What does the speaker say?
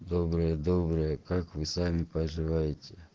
доброе доброе как вы сами поживаете